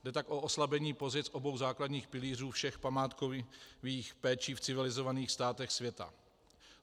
Jde tak o oslabení pozic obou základních pilířů všech památkových péčí v civilizovaných státech světa.